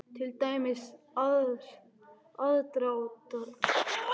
Til dæmis: aðdráttarafl, sjónauki og sporbaugur.